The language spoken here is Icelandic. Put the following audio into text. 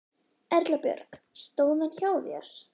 Erla Björg: Stóð hann hjá þér?